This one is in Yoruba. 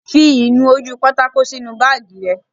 Fi ìnu-ojúpátákó sínu báàgì rẹ